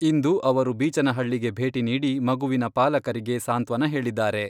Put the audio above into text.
ಇಂದು ಅವರು ಬೀಚನಹಳ್ಳಿಗೆ ಭೇಟಿ ನೀಡಿ ಮಗುವಿನ ಪಾಲಕರಿಗೆ ಸಾಂತ್ವನ ಹೇಳಿದ್ದಾರೆ.